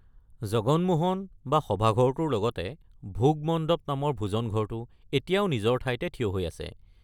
জগন মোহন, বা সভাঘৰটোৰ লগতে ভোগ মণ্ডপ নামৰ ভোজনঘৰটো এতিয়াও নিজৰ ঠাইতে থিয় হৈ আছে।